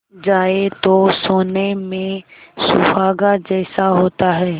जाए तो सोने में सुहागा जैसा होता है